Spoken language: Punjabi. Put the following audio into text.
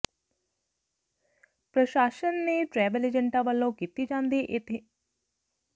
ਪ੍ਰਸ਼ਾਸ਼ਨ ਨੇ ਟ੍ਰੈਵਲ ਏਜੰਟਾਂ ਵਲੋਂ ਕੀਤੀ ਜਾਂਦੀ ਇਸ਼ਤਿਹਾਰਬਾਜੀ ਤੇ ਰਜਿਸਟ੍ਰੇਸ਼ਨ ਨੰਬਰ ਦਰਜ ਕਰਨਾ ਲਾਜਮੀ ਕੀਤਾ